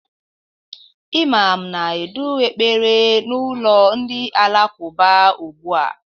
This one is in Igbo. Imam na-edu ekpere na ụlọ ndị alakụba ugbu a